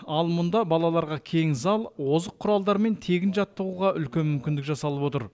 ал мұнда балаларға кең зал озық құралдармен тегін жаттығуға үлкен мүмкіндік жасалып отыр